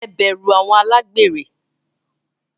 Heberu àwọn alagberẹ